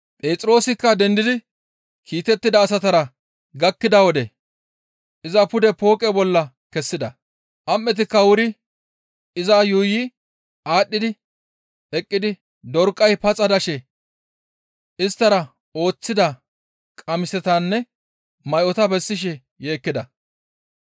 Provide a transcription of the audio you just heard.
Phexroosikka dendidi kiitettida asatara gakkida wode iza pude pooqe bolla kessida; am7etikka wuri iza yuuyi aadhdhi eqqidi Dorqay paxa dashe isttara ooththida qamisatanne may7ota bessishe yeekkida.